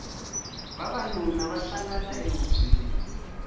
vavanuna va hlangana ehubyeni